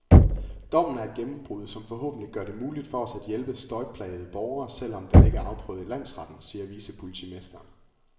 Dommen er et gennembrud, som forhåbentlig gør det muligt for os at hjælpe støjplagede borgere, selv om den ikke er afprøvet i landsretten, siger vicepolitimesteren.